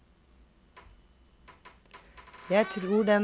Jeg tror den åpningen kan bli ganske frisk, komma sier komponisten. punktum